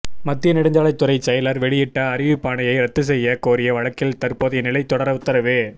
மத்திய நெடுஞ்சாலைத்துறை செயலர் வெளியிட்ட அறிவிப்பாணையை ரத்து செய்ய கோரிய வழக்கில் தற்போதைய நிலை தொடர உத்தரவு